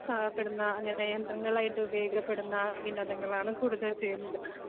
പെടുന്ന അങ്ങനെ യന്ത്രങ്ങളായിട്ട് ഉപയോഗിക്കപ്പെടുന്ന വിനോദങ്ങളാണ് കൂടുതൽ ചെയ്യുന്നത്.